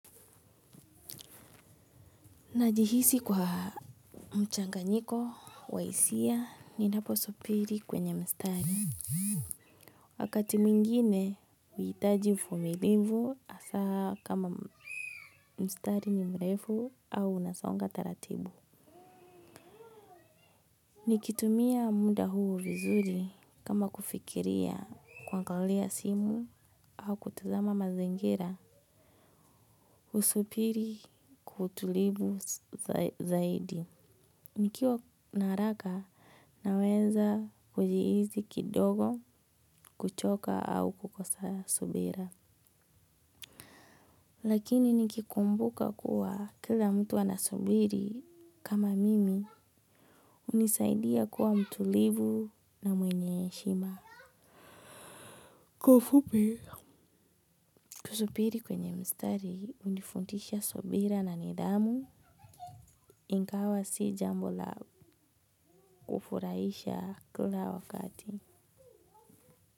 Najihisi kuwa mchanganyiko wa hisia ninapo supiri kwenye mstari. Wakati mingine huitaji ufumilivu asaa kama mstari ni mrefu au unasonga taratibu. Nikitumia munda huu vizuri kama kufikiria kuangalia simu au kutazama mazingira. Usupiri kwa utulivu zaidi. Nikiwa na haraka naweza kujihizi kidogo kuchoka au kukosa subira. Lakini nikikumbuka kuwa kila mtu anasubiri kama mimi unisaidia kuwa mtulivu na mwenye heshima. Kwa ufupi, kusupiri kwenye mstari unifundisha subira na nidhamu ingawa si jambo la ufurahisha kila wakati.